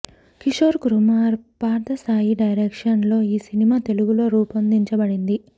Kishore Kumar Parthasai direction లో ఈ cinema Telugu లో రూపొందించబడింది